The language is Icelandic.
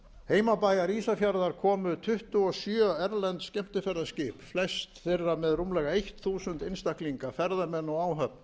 heimabæjar ísafjarðar komu tuttugu og sjö erlend skemmtiferðaskip flest þeirra með rúmlega eitt þúsund einstaklinga ferðamenn og áhöfn